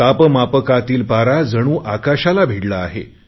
तापमापकातील पारा जणू आकाशाला भिडला आहे